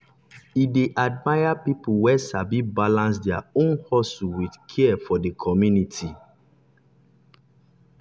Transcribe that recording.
e dey admire people wey sabi balance their own hustle with care for the community.